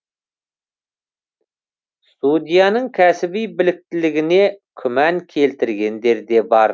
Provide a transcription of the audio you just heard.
судьяның кәсіби біліктілігіне күмән келтіргендер де бар